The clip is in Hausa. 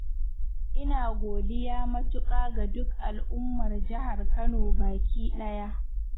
ina godiya matuƙa ga duk al'ummar Jihar Kano baki ɗaya.